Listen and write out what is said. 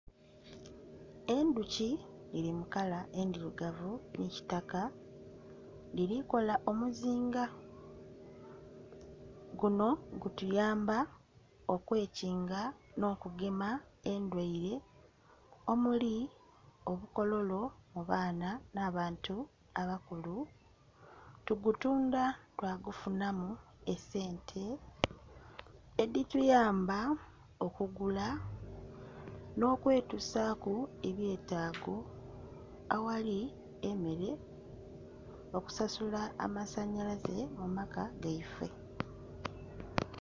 Endhuki dhiri mu kala endhirugavu nhi kitaka dhiri kola omuuzinga, guno gutuyamba kwe kinga no'kugema endhwaire omuli obukokolo mu baana na bantu abakulu, tugutundha twa gufunamu esente edhi tuyamba okugula nho kwe tusaku ebyetaago aghali emmere, okusasula amasanhalaze mu maka gaife.